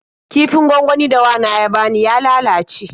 Kifin gwangwanin da wana ya bani ya lalace.